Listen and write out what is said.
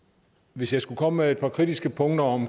hvis jeg skulle komme med et par kritiske punkter om